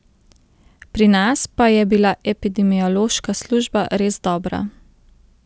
Pri nas pa je bila epidemiološka služba res dobra.